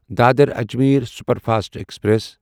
Dadar Ajmer superfast express